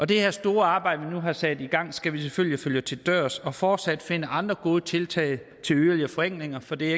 det her store arbejde vi nu har sat i gang skal vi selvfølgelig følge til dørs og fortsat finde andre gode tiltag til yderligere forenklinger for det er